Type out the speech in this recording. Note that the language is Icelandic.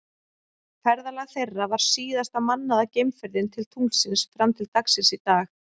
Ferðalag þeirra var síðasta mannaða geimferðin til tunglsins fram til dagsins í dag.